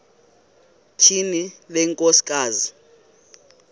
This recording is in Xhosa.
tyhini le nkosikazi